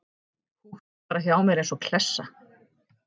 Húkti bara hjá mér eins og klessa.